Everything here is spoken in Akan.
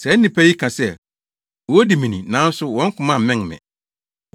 “ ‘Saa nnipa yi ka sɛ wodi me ni, nanso wɔn koma mmɛn me.